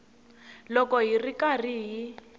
loko hi ri karhi hi